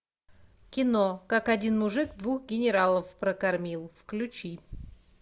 кино как один мужик двух генералов прокормил включи